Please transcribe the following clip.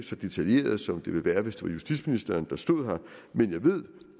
så detaljeret som den ville være hvis som justitsminister men jeg ved